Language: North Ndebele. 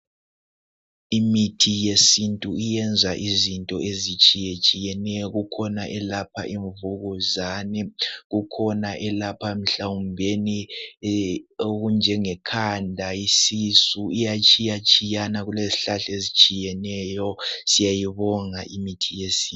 Imithi yesintu iyenza izinto ezitshiya tshiyeneyo kukhona elapha imvukuzane kukhona elapha mhlawumbeni okunjenge khanda isisu iyatshiya tshiyana lezihlahla ezitshiyeneyo siyayibonga imithi yesintu.